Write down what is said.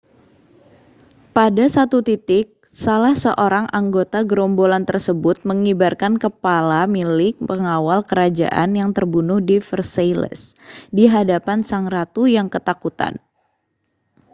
pada satu titik salah seorang anggota gerombolan tersebut mengibarkan kepala milik pengawal kerajaan yang terbunuh di versailles di hadapan sang ratu yang ketakutan